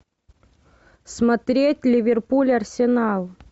смотреть ливерпуль арсенал